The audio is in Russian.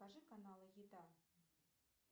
покажи каналы еда